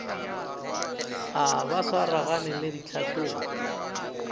a ba swaragane le ditlhahlobo